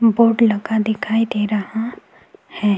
Board लगा दिखाई दे रहा है।